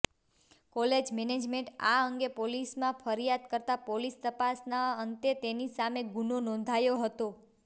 college મેનેજમેન્ટે આ અંગે પોલીસમાં ફરીયાદ કરતાં પોલીસ તપાસના અંતે તેની સામે ગુનો નોંધાયો હતો